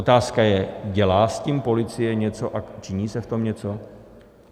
Otázka je, dělá s tím policie něco a činí se v tom něco?